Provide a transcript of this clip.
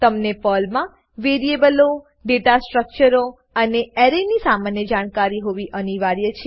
તમને પર્લમાં વેરીએબલો ડેટા સ્ટ્રક્ચરો અને એરેની સામાન્ય જાણકારી હોવી અનિવાર્ય છે